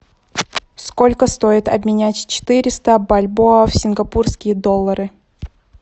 сколько стоит обменять четыреста бальбоа в сингапурские доллары